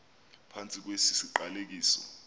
phantsi kwesi siqalekiso